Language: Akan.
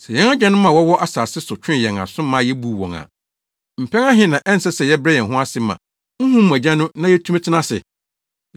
Sɛ yɛn agyanom a wɔwɔ asase so twee yɛn aso ma yebuu wɔn a, mpɛn ahe na ɛnsɛ sɛ yɛbrɛ yɛn ho ase ma honhom mu Agya no na yetumi tena ase?